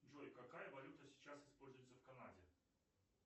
джой какая валюта сейчас используется в канаде